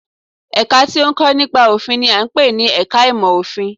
Ẹ̀ka tí ó ń kọ́ nípa òfin n i à ń pè ní ẹka ìmọ̀ òfin